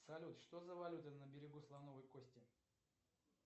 салют что за валюта на берегу слоновой кости